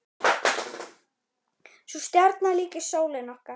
Sú stjarna líkist sólinni okkar.